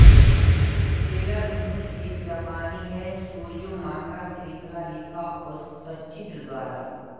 seller Moon एक जापानी है शोजो मंगा श्रृंखला लिखा और सचित्र द्वारा